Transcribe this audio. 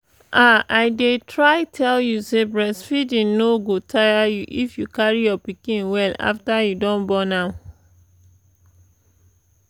ah i dey try tell you say breastfeeding no go tire you if you carry your pikin well after you don born am